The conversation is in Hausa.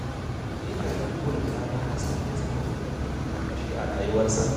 Ina da burin ɗana Hassan ya zama babban likitan ƙashi a rayuwarsa